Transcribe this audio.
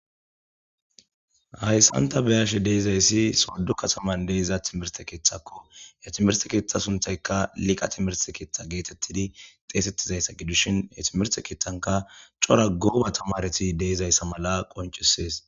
hayssanta beyashe deizayssi soddu kataman deiza timirte keeththakko ya timere keeththa sunthayka liqa timerse keeththa geetettidi xeesettizayssa gidushin etimerse keettanka cora gooba tamareti deizayssa mala qoncisees